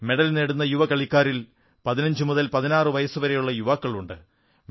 medal നേടുന്ന യുവ കളിക്കാരിൽ 1516 വയസ്സുള്ള യുവാക്കളുമുണ്ട്